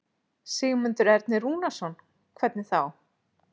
Sigmundur Ernir Rúnarsson: Hvernig þá?